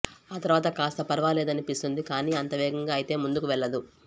ఆ తర్వాత కాస్త పరవాలేదనిపిస్తుంది కానీ అంత వేగంగా అయితే ముందుకు వెళ్ళదు